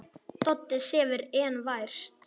Doddi sefur enn vært.